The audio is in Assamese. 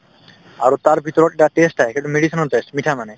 আৰু তাৰভিতৰত এটা test আহে সেইটো medicine ৰ test মিঠা মানে